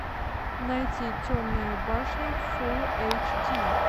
найти темная башня фул эйч ди